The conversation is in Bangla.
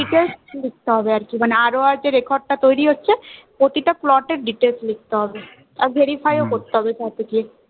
মানে ROR এর যে record টা তৈরী হচ্ছে প্রতিটা plot এর details লিখতে হবে আর verify ও করতে হবে perfectly